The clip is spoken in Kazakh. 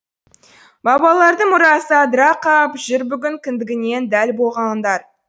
бабалардың мұрасы адыра қап жүр бүгін кіндігінен дәл болғандар